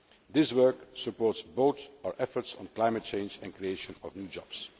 This work supports both our efforts on climate change and the creation of new jobs.